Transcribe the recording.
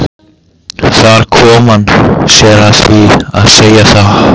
Þar kom hann sér að því að segja það.